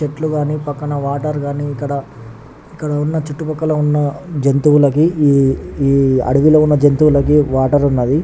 చేతుల్లు గని పక్క్కన వాటర్ గని ఇక్క్కడ వున్నా చుట్టూ పక్క ల వున్నా ఈ అడివిలో వున్నా జెంతువాలకి వాటర్ వున్నబ్వి